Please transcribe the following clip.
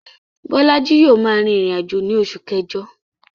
Bólájí yio ma rìn ìrìnàjò ni osù kẹ́jo